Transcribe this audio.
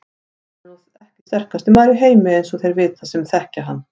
Hann er nú ekki sterkasti maður í heimi eins og þeir vita sem þekkja hann.